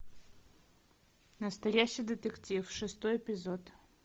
настоящий детектив шестой эпизод